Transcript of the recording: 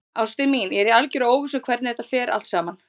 Ástin mín, ég er í algerri óvissu um hvernig þetta fer allt saman.